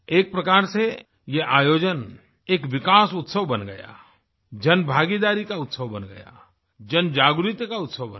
एक प्रकार से ये आयोजन एक विकास उत्सव बन गया जनभागीदारी का उत्सव बन गया जनजागृति का उत्सव बन गया